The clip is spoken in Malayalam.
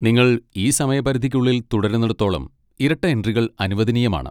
നിങ്ങൾ ഈ സമയപരിധിക്കുള്ളിൽ തുടരുന്നിടത്തോളം ഇരട്ട എൻട്രികൾ അനുവദനീയമാണ്.